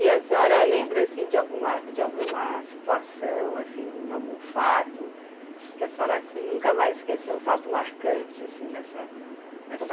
E a senhora lembra, assim, de alguma alguma situação, assim, algum fato que a senhora, assim, nunca mais esqueceu, um fato marcante, assim, nessa nessa